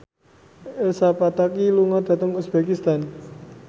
Elsa Pataky lunga dhateng uzbekistan